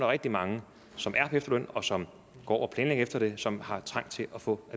rigtig mange som er på efterløn og som går og planlægger efter det som har trang til at få